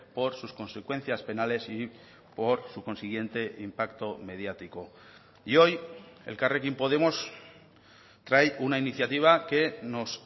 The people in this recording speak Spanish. por sus consecuencias penales y por su consiguiente impacto mediático y hoy elkarrekin podemos trae una iniciativa que nos